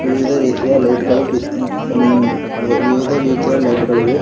ವಿವಿಧ ರೀತಿಯ ಲೈಟ್ ಗಳು ಬಿ ಅಂ ವಿವಿಧ ರೀತಿಯ ಲೈಟ್ ಗಳಿವೆ.